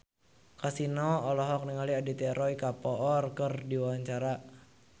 Kasino olohok ningali Aditya Roy Kapoor keur diwawancara